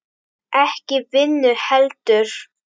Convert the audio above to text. Ekki vinnu heldur.